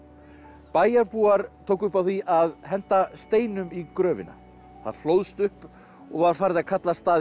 bæjarbúar tóku upp á því að henda steinum í gröfina það hlóðst upp og var farið að kalla staðinn